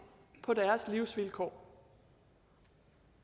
på deres livsvilkår